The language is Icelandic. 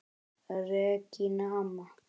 Regína amma.